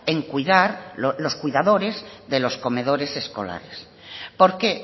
en cuidar los cuidadores de los comedores escolares por qué